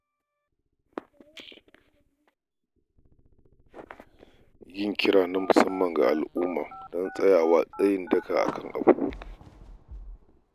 Yin kira na musamman ga al’umma don tsayawa tsayin daka akan abu.